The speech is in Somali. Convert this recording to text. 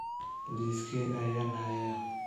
Liiskee ayaan hayaa?